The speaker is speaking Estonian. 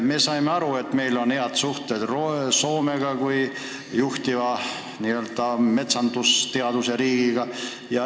Me saime aru, et meil on head suhted Soomega kui juhtiva metsandusteaduse riigiga.